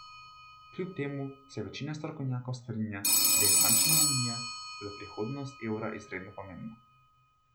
Kljub temu se večina strokovnjakov strinja, da je bančna unija za prihodnost evra izredno pomembna.